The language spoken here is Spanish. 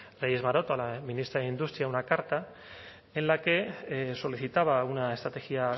reyes maroto a la ministra de industria una carta en la que solicitaba una estrategia